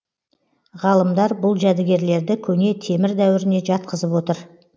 ғалымдар бұл жәдігерлерді көне темір дәуіріне жатқызып отыр